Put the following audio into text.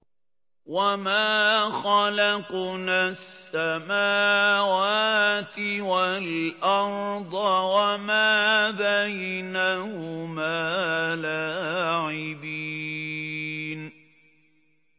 وَمَا خَلَقْنَا السَّمَاوَاتِ وَالْأَرْضَ وَمَا بَيْنَهُمَا لَاعِبِينَ